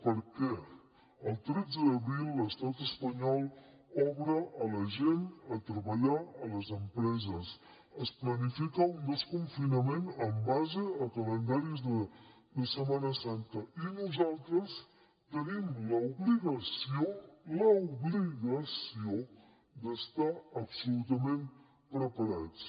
per què el tretze d’abril l’estat espanyol obre a la gent treballar a les empreses es planifica un desconfinament en base a calendaris de setmana santa i nosaltres tenim l’obligació l’obligació d’estar absolutament preparats